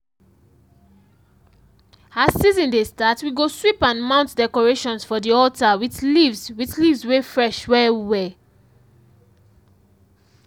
as season dey start we go sweep and mount decorations for di altar with leaves with leaves wey fresh well well.